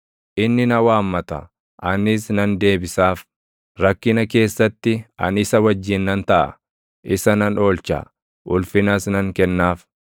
Inni na waammata; anis nan deebisaaf; rakkina keessatti ani isa wajjin nan taʼa; isa nan oolcha; ulfinas nan kennaaf.